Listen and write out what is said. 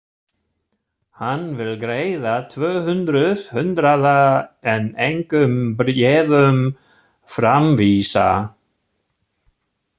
Hann vill greiða tvö hundruð hundraða en engum bréfum framvísa!